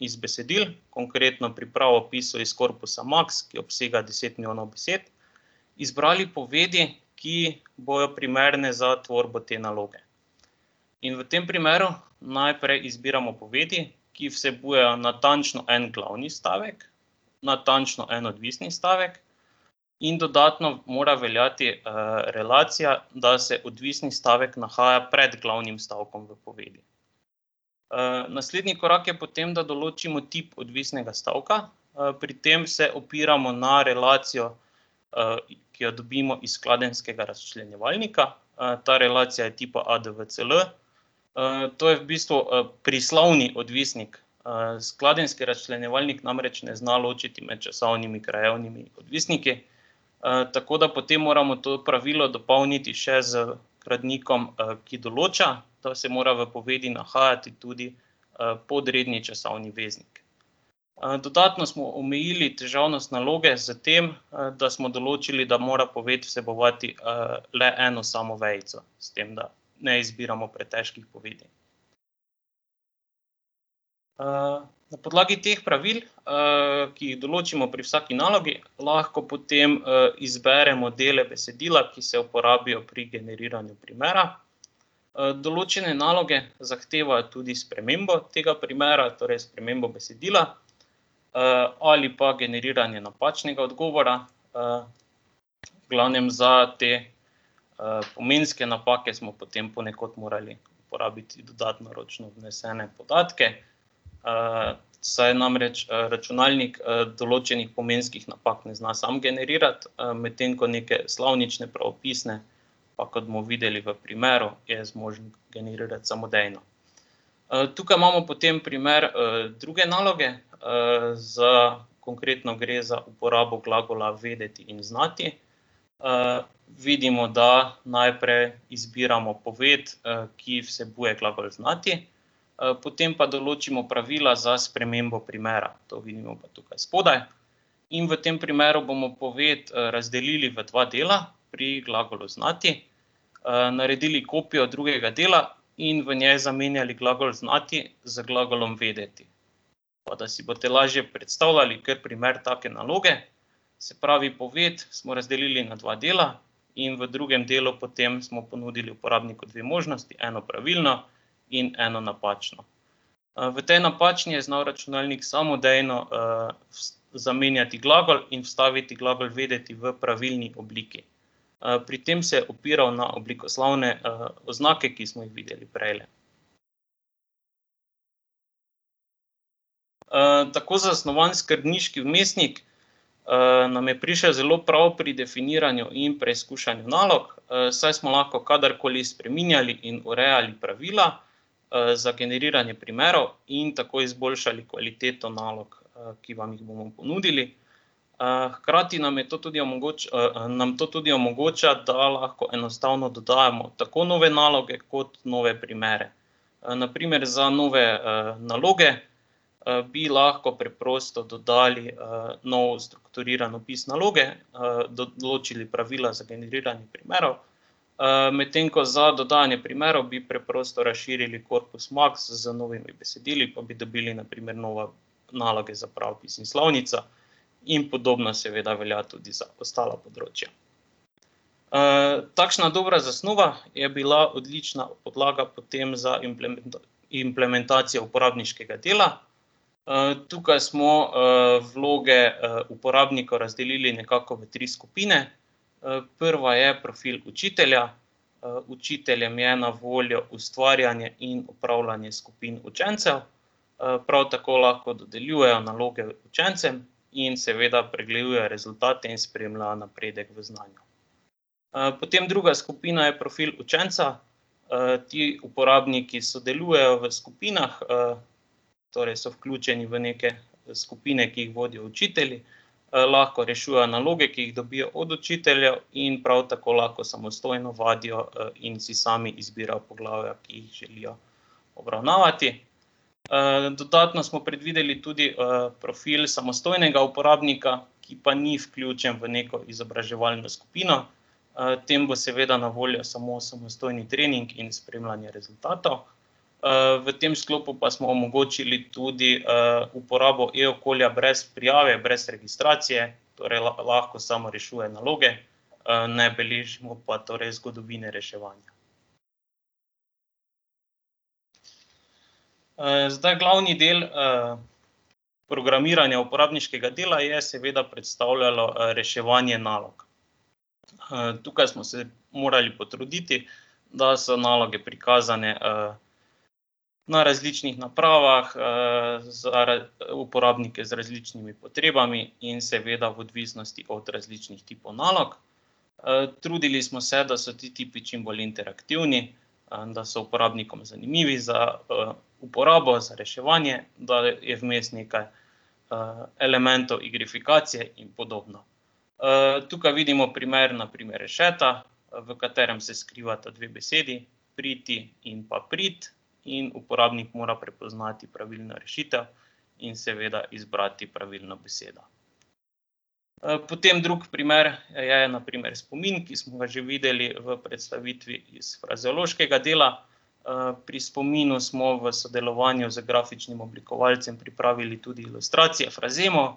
iz besedil, konkretno pri pravopisu iz korpusa Maks, ki obsega deset milijonov besed, izbrali povedi, ki bojo primerne za tvorbo te naloge. In v tem primeru najprej izbiramo povedi, ki vsebujejo natančno en glavni stavek, natančno en odvisni stavek, in dodatno mora veljati, relacija, da se odvisni stavek nahaja pred glavnim stavkom v povedi. naslednji korak je potem, da določimo tip odvisnega stavka, pri tem se opiramo na relacijo, ki jo dobimo iz skladenjskega razčlenjevalnika, ta relacija je tipa ADVCL. to je v bistvu, prislovni odvisnik, skladenjski razčlenjevalnik namreč ne zna ločevati med časovnimi in krajevnimi odvisniki. tako da potem moramo to pravilo dopolniti še z gradnikom, ki določa, da se mora v povedi nahajati tudi, podredni časovni veznik. dodatno smo omejili težavnost naloge s tem, da smo določili, da mora poved vsebovati, le eno samo vejico, s tem da ne izbiramo pretežkih povedi. na podlagi teh pravil, ki jih določimo pri vsaki nalogi, lahko potem, izberemo dele besedila, ki se uporabijo pri generiranju primera. določene naloge zahtevajo tudi spremembo tega primera, torej spremembo besedila, ali pa generiranje napačnega odgovora. v glavnem za te, pomenske napake smo potem ponekod morali porabiti dodatno ročno vnesene podatke. saj namreč, računalnik, določenih pomenskih napak ne zna sam generirati, medtem ko neke slovnične, pravopisne pa, kot bomo videli v primeru, je zmožen generirati samodejno. tukaj imamo potem primer, druge naloge, z ... Konkretno gre za uporabo glagola vedeti in znati. vidimo, da najprej izbiramo poved, ki vsebuje glagol znati. potem pa določimo pravila za spremembo primera, to vidimo pa tukaj spodaj. In v tem primeru bomo poved, razdelili v dva dela pri glagolu znati, naredili kopijo drugega dela in v njej zamenjali glagol znati z glagolom vedeti. Pa da si boste lažje predstavljali, kar primer take naloge: se pravi, poved smo razdelili na dva dela. In v drugem delu potem smo ponudili uporabniku dve možnosti, eno pravilno in eno napačno. v tej napačni je znal računalnik samodejno zamenjati glagol in vstaviti glagol vedeti v pravilni obliki. pri tem se je opiral na oblikoslovne, oznake, ki smo jih videli prejle. tako zasnovan skrbniški vmesnik, nam je prišel zelo prav pri definiranju in preizkušanju nalog, saj smo lahko kadarkoli spreminjali in urejali pravila, za generiranje primerov in tako izboljšali kvaliteto nalog, ki vam jih bomo ponudili. hkrati nam je to tudi nam to tudi omogoča, da lahko enostavno dodajamo tako nove naloge kot nove primere. na primer za nove, naloge, bi lahko preprosto dodali, nov strukturiran opis naloge, določili pravila za generiranje primerov, medtem ko za dodajanje primerov bi preprosto razširili korpus Maks z novimi besedili, pa bi dobili na primer nove naloge za pravopisno slovnico. In podobno seveda velja tudi za ostala področja. takšna dobra zasnova je bila odlična podlaga potem za implementacijo uporabniškega dela, tukaj smo, vloge, uporabnika razdelili nekako v tri skupine. prva je profil učitelja, učiteljem je na voljo ustvarjanje in opravljanje skupin učencev, prav tako lahko dodeljujejo naloge učencem in seveda pregledujejo rezultate in spremljajo napredek v znanju. potem druga skupina je profil učenca, ti uporabniki sodelujejo v skupinah, torej so vključeni v neke skupine, ki jih vodijo učitelji. lahko rešujejo naloge, ki jih dobijo od učiteljev, in prav tako lahko samostojno vadijo, in si sami izbirajo poglavja, ki jih želijo obravnavati. dodatno smo predvideli tudi, profil samostojnega uporabnika, ki pa ni vključen v neko izobraževalno skupino. tem bo seveda na voljo samo samostojni trening in spremljanje rezultatov. v tem sklopu pa smo omogočili tudi, uporabo e-okolja brez prijave, brez registracije. Torej lahko samo rešuje naloge, ne beležimo pa torej zgodovine reševanja. zdaj glavni del, programiranja uporabniškega dela je seveda predstavljalo reševanje nalog. tukaj smo se morali potruditi, da so naloge prikazane, na različnih napravah, uporabnike z različnimi potrebami in seveda v odvisnosti od različnih tipov nalog. trudili smo se, da so ti tipi čim bolj interaktivni, da so uporabnikom zanimivi za, uporabo, za reševanje, da je vmes nekaj, elementov igrifikacije in podobno. tukaj vidimo primer, na primer rešeta, v katerem se skrivata dve besedi: priti in pa prit. In uporabnik mora prepoznati pravilno rešitev in seveda izbrati pravilno besedo. potem drugi primer je na primer spomin, ki smo ga že videli v predstavitvi iz frazeološkega dela. pri spominu smo v sodelovanju z grafičnim oblikovalcem pripravili tudi ilustracije frazemov.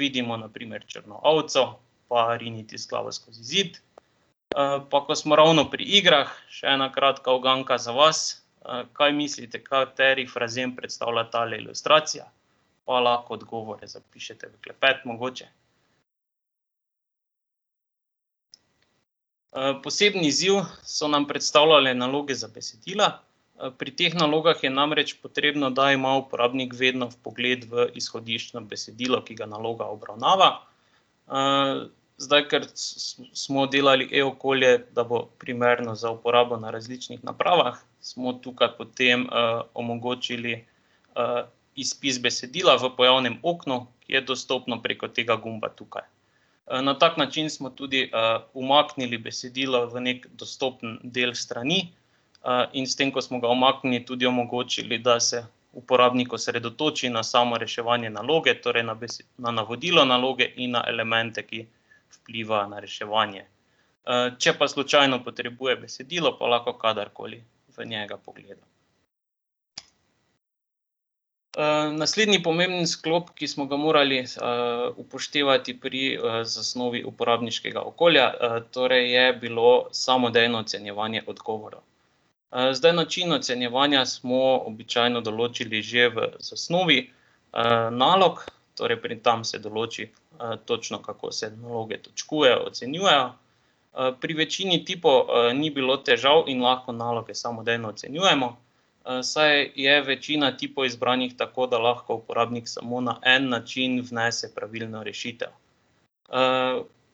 vidimo na primer črno ovco pa riniti z glavo skozi zid. pa ko smo ravno pri igrah, še ena kratka uganka za vas: kaj mislite, kateri frazem predstavlja tale ilustracija? Pa lahko odgovore zapišete v klepet mogoče. poseben izziv so nam predstavljale naloge za besedila, pri teh nalogah je namreč potrebno, da ima uporabnik vedno vpogled v izhodiščno besedilo, ki ga naloga obravnava. zdaj ker smo delali e-okolje, da bo primerno za uporabo na različnih napravah, smo tukaj potem, omogočili, izpis besedila v pojavnem oknu, je dostopen preko tega gumba tukaj. na tak način smo tudi, umaknili besedila v neki dostopen del strani, in s tem, ko smo ga umaknili, tudi omogočili, da se uporabnik osredotoči na samo reševanje naloge, torej na na navodila naloge in na elemente, ki vplivajo na reševanje. če pa slučajno potrebuje besedilo, pa lahko kadarkoli v njega pogleda. naslednji pomemben sklop, ki smo ga morali, upoštevati pri zasnovi uporabniškega okolja, torej je bilo samodejno ocenjevanje odgovorov. zdaj način ocenjevanja smo običajno določili že v zasnovi, nalog, torej pri tam se določi, točno, kako se naloge točkujejo, ocenjujejo. pri večini tipov, ni bilo težav in lahko naloge samodejno ocenjujemo, saj je večina tipov izbranih tako, da lahko uporabnik samo na en način vnese pravilno rešitev.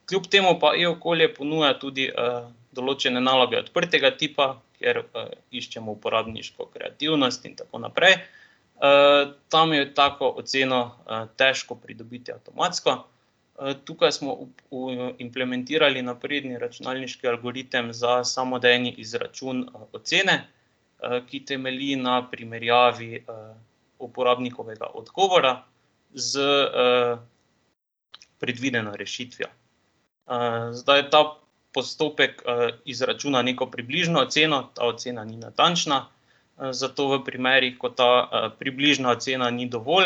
kljub temu pa e-okolje ponuja tudi, določene naloge odprtega tipa, ker, iščemo uporabniško kreativnost in tako naprej, tam je tako oceno, težko pridobiti avtomatsko, tukaj smo implementirali napredni računalniški algoritem za samodejni izračun, ocene, ki temelji na primerjavi, uporabnikovega odgovora s, predvideno rešitvijo. zdaj ta postopek izračuna neko približno oceno, ta ocena ni natančna, zato v primerih, ko ta, približna ocena ni dovolj,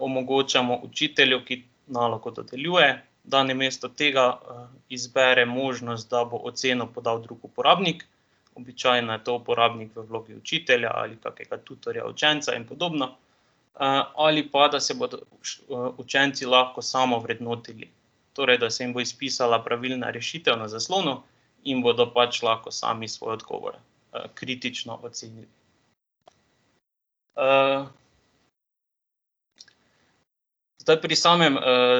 omogočamo učitelju, ki nalogo dodeljuje, da namesto tega, izbere možnost, da bo oceno podal drug uporabnik. Običajno je to uporabnik v vlogi učitelja ali kakega tutorja, učenca in podobno, ali pa, da se bodo učenci lahko samovrednotili, torej da se jim bo izpisala pravilna rešitev na zaslonu in bodo pač lahko sami svoj odgovor, kritično ocenili. ... Zdaj pri samem,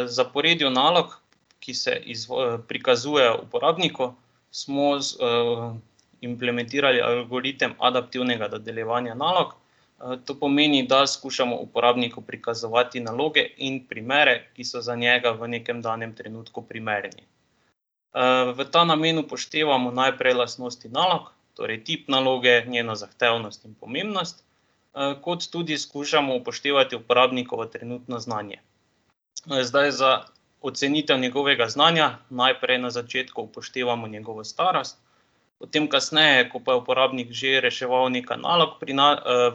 zaporedju nalog, ki se prikazujejo uporabniku, smo implementirali algoritem adaptivnega dodeljevanja nalog. to pomeni, da skušamo uporabniku prikazovati naloge in primere, ki so za njega v nekem danem trenutku primerni. v ta namen upoštevamo najprej lastnosti nalog, torej tip naloge, njena zahtevnost in pomembnost, kot tudi skušamo upoštevati uporabnikovo trenutno znanje. No, zdaj za ocenitev njegovega znanja najprej na začetku upoštevamo njegovo starost. Potem kasneje, ko pa je uporabnik že reševal nekaj nalog, pri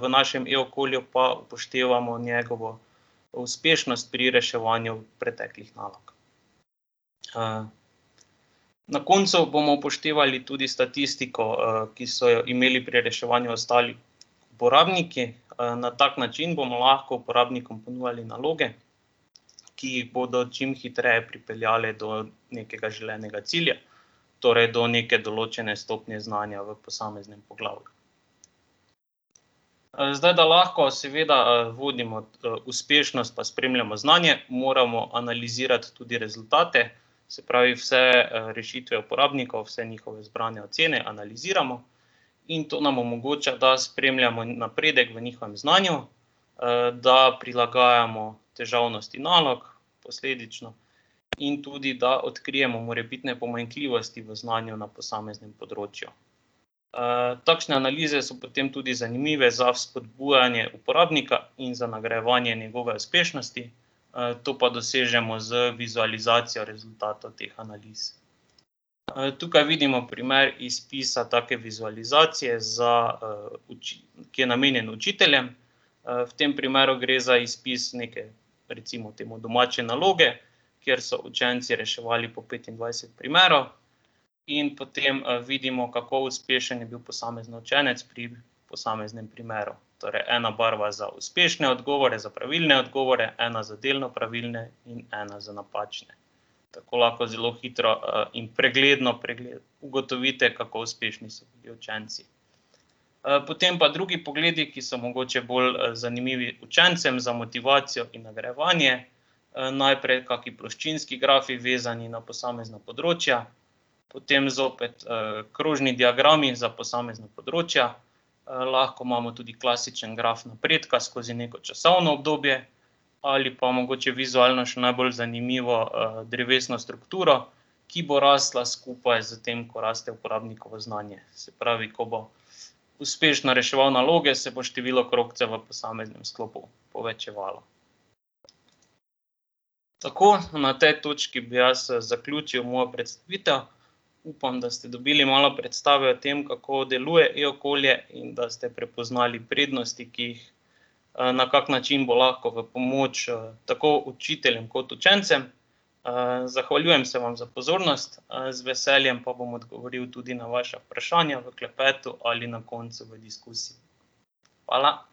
v našem e-okolju pa upoštevamo njegovo uspešnost pri reševanju preteklih nalog. ... Na koncu bomo upoštevali tudi statistiko, ki so ji imeli pri reševanju ostali uporabniki, na tak način bomo lahko uporabniku ponujali naloge, ki jih bodo čim hitreje pripeljale do nekega želenega cilja. Torej do neke določene stopnje znanja v posameznem poglavju. zdaj da lahko seveda, vodimo, uspešnost pa spremljamo znanje, moramo analizirati tudi rezultate. Se pravi, vse, rešitve uporabnikov, vse njihove zbrane ocene analiziramo in to nam omogoča, da spremljamo napredek v njihovem znanju, da prilagajamo težavnost nalog posledično in tudi da odkrijemo morebitne pomanjkljivosti v znanju na posameznem področju. takšne analize so potem tudi zanimive za spodbujanje uporabnika in za nagrajevanje njegove uspešnosti, to pa dosežemo z vizualizacijo rezultata teh analiz. tukaj vidimo primer izpisa take vizualizacije za, ki je namenjen učiteljem. v tem primeru gre za izpis neke, recimo temu, domače naloge, kjer so učenci reševali po petindvajset primerov. In potem, vidimo, kako uspešen je bil posamezen učenec pri posameznem primeru. Torej ena barva za uspešne odgovore, za pravilne odgovore, ena za delno pravilne, in ena za napačne. Tako lahko zelo hitro, in pregledno ugotovite, kako uspešni so bili učenci. potem pa drugi pogledi, ki so mogoče bolj zanimivi učencem za motivacijo in nagrajevanje, najprej kaki ploščinski grafi, vezani na posamezna področja, potem zopet, krožni diagrami za posamezna področja. lahko imamo tudi klasičen graf napredka skozi neko časovno obdobje, ali pa mogoče vizualno še najbolj zanimivo, drevesna struktura, ki bo rasla skupaj s tem, ko raste uporabnikovo znanje, se pravi, ko bo uspešno reševal naloge, se bo število krogcev v posameznem sklopu povečevalo. Tako, na tej točki bi jaz zaključil mojo predstavitev. Upam, da ste dobili malo predstave o tem, kako deluje e-okolje, in da ste prepoznali prednosti, ki jih, na kak način bo lahko v pomoč, tako učiteljem kot učencem. zahvaljujem se vam za pozornost, z veseljem pa bom odgovoril tudi na vaša vprašanja v klepetu ali na koncu v diskusiji. Hvala.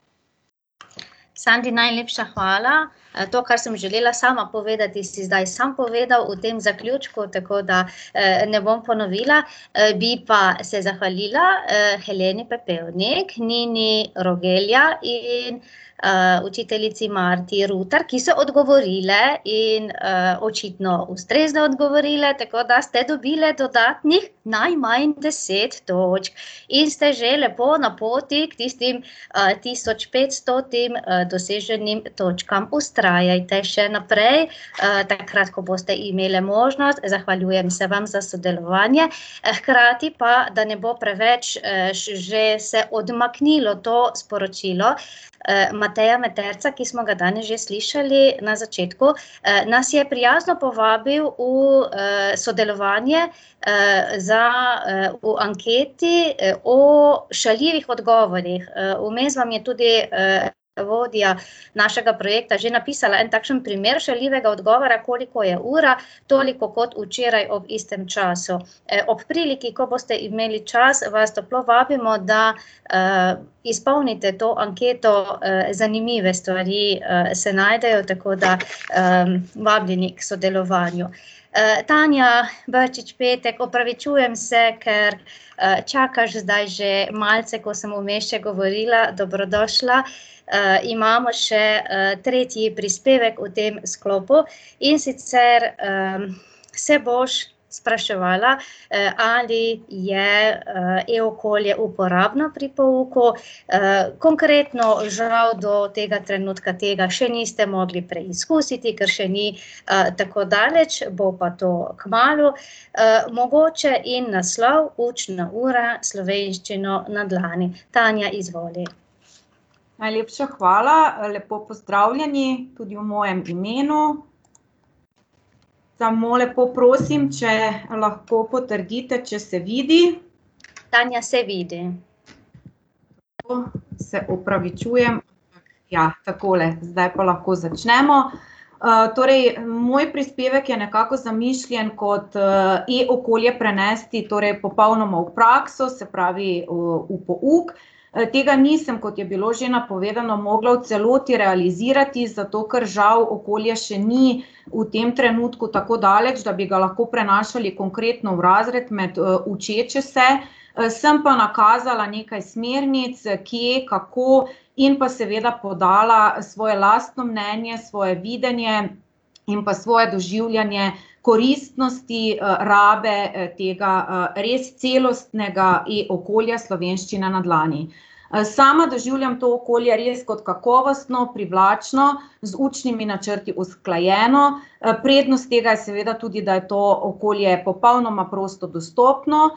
Sandi, najlepša hvala. to, kar sem želela sama povedati, si zdaj sam povedal v tem zaključku, tako da, ne bom ponovila. bi pa se zahvalila, [ime in priimek] in, učiteljici [ime in priimek], ki so odgovorile in, očitno ustrezno odgovorile tako, da ste dobile dodatnih najmanj deset točk. In ste že lepo na poti k tistim, tisoč petstotim, doseženim točkam, vztrajajte še naprej, takrat, ko boste imele možnost, zahvaljujem se vam za sodelovanje, hkrati pa, da ne bo preveč, že se odmaknilo to sporočilo, Mateja Meterca, ki smo ga danes že slišali na začetku, nas je prijazno povabili v, sodelovanje, za, v anketi, o šaljivih odgovorih, vmes vam je tudi, vodja našega projekta že napisala en takšen primer šaljivega odgovora: "Koliko je ura? Toliko, kot včeraj ob istem času." ob priliki, ko boste imeli čas, vas toplo vabimo, da, izpolnite to anketo, zanimive stvari, se najdejo, tako da, vabljeni k sodelovanju. Tanja Brčič Petek, opravičujem se, ker, čakaš zdaj že malce, ko sem vmes še govorila, dobrodošla. imamo še, tretji prispevek v tem sklopu, in sicer, se boš spraševala, ali je, e-okolje uporabno pri pouku. konkretno žal do tega trenutka tega še niste mogli preizkusiti, ker še ni, tako daleč, bo pa to kmalu. mogoče njen naslov: Učna ura s Slovenščino na dlani. Tanja, izvoli. Najlepša hvala, lepo pozdravljeni tudi v mojem imenu. Samo lepo prosim, če lahko potrdite, če se vidi. Tanja, se vidi. se opravičujem. Ja, takole, zdaj pa lahko začnemo. torej moj prispevek je nekako zamišljen kot, e-okolje prenesti torej popolnoma v prakso, se pravi v, pouk. tega nisem, kot je bilo že napovedano, mogla v celoti realizirati, zato ker žal okolje še ni v tem trenutku tako daleč, da bi ga lahko prenašali konkretno v razred med, učeče se. sem pa nakazala nekaj smernic, kje, kako in pa seveda podala svoje lastno mnenje, svoje videnje in pa svoje doživljanje koristnosti, rabe, tega, res celostnega e-okolja Slovenščina na dlani. sama doživljam to okolje res kot kakovostno, privlačno, z učnimi načrti usklajeno, prednost tega je seveda tudi, da je to okolje popolnoma prosto dostopno,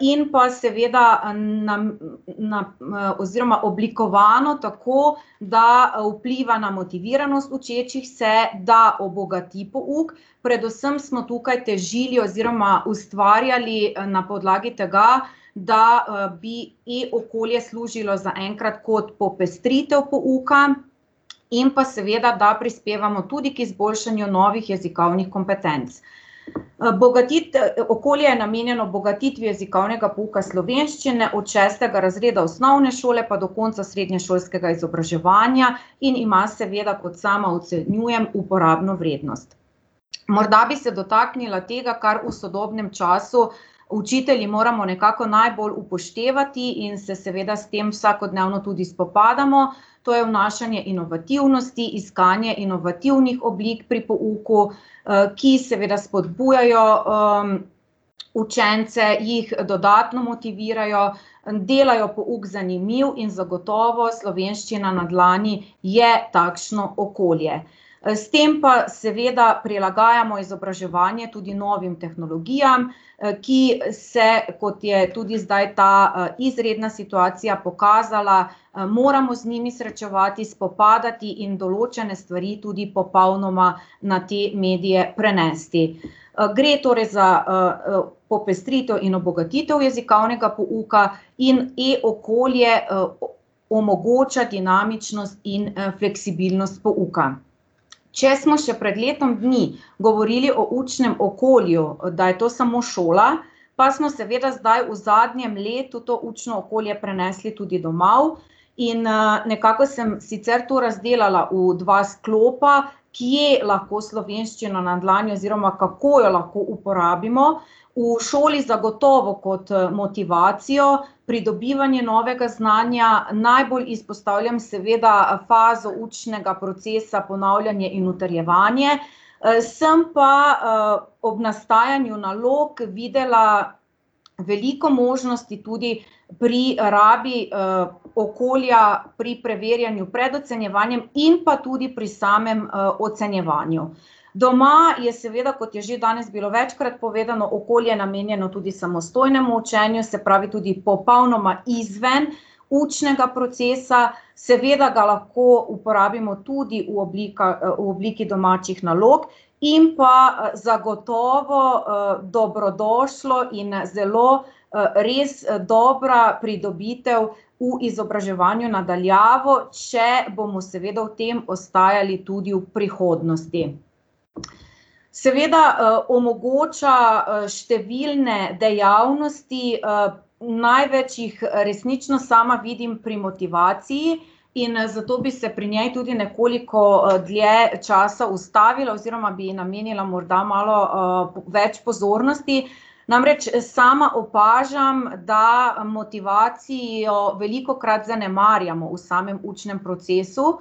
in pa seveda, oziroma oblikovano tako, da vpliva na motiviranost učečih se, da obogati pouk, predvsem smo tukaj težili oziroma ustvarjali, na podlagi tega, da, bi e-okolje služilo zaenkrat kot popestritev pouka in pa seveda da prispevamo tudi k izboljšanju novih jezikovnih kompetenc. okolje je namenjeno bogatitvi jezikovnega pouka slovenščine od šestega razreda osnovne šole pa do konca srednješolskega izobraževanja in ima seveda, kot sama ocenjujem, uporabno vrednost. Morda bi se dotaknila tega, kar v sodobnem času učitelji moramo najbolj upoštevati in se seveda s tem vsakodnevno tudi spopadamo. To je vnašanje inovativnosti, iskanje inovativnih oblik pri pouku, ki seveda spodbujajo, učence, jih dodatno motivirajo, delajo pouk zanimiv in zagotovo Slovenščina na dlani je takšno okolje. s tem pa seveda prilagajamo izobraževanje tudi novim tehnologijam, ki se, kot je tudi zdaj ta, izredna situacija pokazala, moramo z njimi srečevati, spopadati in določene stvari tudi popolnoma na te medije prenesti. gre torej za, popestritev in obogatitev jezikovnega pouka in e-okolje, omogoča dinamičnost in, fleksibilnost pouka. Če smo še pred letom dni govorili o učnem okolju, da je to samo šola, pa smo seveda zdaj v zadnjem letu to učno okolje prenesli tudi domov. In, nekako sem sicer to razdelala v dva sklopa, kje lahko Slovenščino na dlani oziroma kako jo lahko uporabimo, v šoli zagotovo kot, motivacijo, pridobivanje novega znanja, najbolj izpostavljam seveda fazo učnega procesa ponavljanje in utrjevanje. sem pa, ob nastajanju nalog videla veliko možnosti tudi pri rabi, okolja pri preverjanju pred ocenjevanjem in pa tudi pri samem, ocenjevanju. Doma je seveda, kot je že danes bilo večkrat povedano, okolje namenjeno tudi samostojnemu učenju, se pravi tudi popolnoma izven učnega procesa, seveda ga lahko uporabimo tudi v oblikah, v obliki domačih nalog, in pa zagotovo, dobrodošlo in zelo, res dobra pridobitev v izobraževanju na daljavo, če bomo seveda v tem ostajali tudi v prihodnosti. Seveda, omogoča, številne dejavnosti, največ jih resnično sama vidim pri motivaciji in zato bi se pri njej tudi nekoliko, dlje časa ustavila oziroma bi ji namenila morda malo, več pozornosti. Namreč sama opažam, da motivacijo velikokrat zanemarjamo v samem učnem procesu.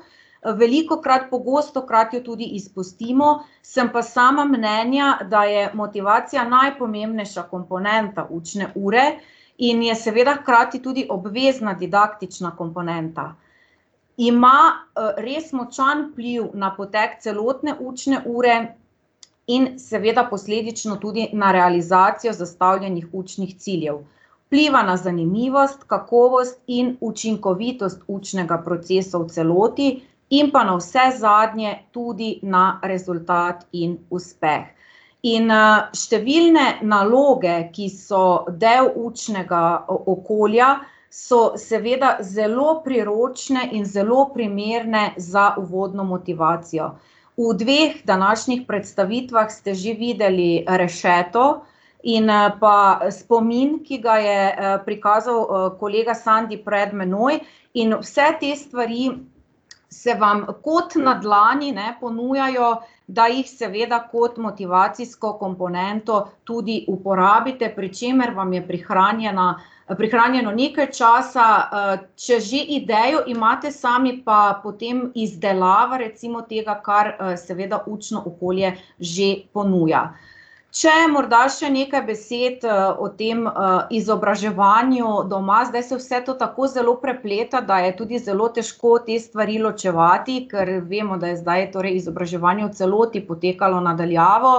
velikokrat, pogostokrat jo tudi izpustimo, sem pa sama mnenja, da je motivacija najpomembnejša komponenta učne ure in je seveda hkrati tudi obvezna didaktična komponenta. Ima, res močan vpliv na potek celotne učne ure in seveda posledično tudi na realizacijo zastavljenih učnih ciljev. Vpliva na zanimivost, kakovost in učinkovitost učnega procesa v celoti in pa navsezadnje, tudi na rezultat in uspeh. In, številne naloge, ki so del učnega, okolja, so seveda zelo priročne in zelo primerne za uvodno motivacijo. V dveh današnjih predstavitvah ste že videli rešeto in, pa spomin, ki ga je, prikazal, kolega Sandi pred mano, in vse te stvari se vam kot na dlani, ne, ponujajo, da jih seveda kot motivacijsko komponento tudi uporabite, pri čemer vam je prihranjena, prihranjeno nekaj časa, če že idejo imate sami, pa potem izdelava recimo tega, kar, seveda učno okolje že ponuja. Če morda še nekaj besed, o tem, izobraževanju doma, zdaj se vse to tako zelo prepleta, da je tudi zelo težko te stvari ločevati, kar vemo, da je zdaj torej izobraževanje v celoti potekalo na daljavo